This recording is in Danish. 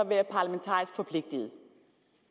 være parlamentarisk forpligtet